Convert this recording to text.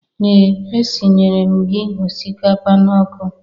Ee! Esinyere m gị ọsikapa n'ọkụ.